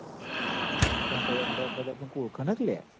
પણ તોય અમદાવાદમાં તો આપડોન કોય ઓળખ ના ક યાર